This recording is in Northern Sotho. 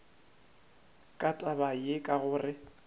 ka taba ye ka gore